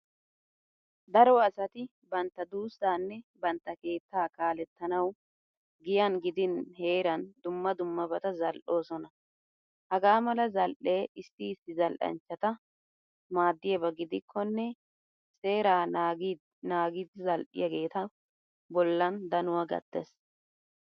Daro asati bantta duussaanne bantta keettaa kaalettanawu giyan gidin heeran dumma dummabata zal"oosona. Hagaa mala zal"ee issi issibzal"anchchata maaddiyaba gidikkonne seeraa naagidi zal"iyageetu bollan danuwa gattees.